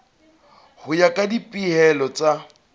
ho ya ka dipehelo tsa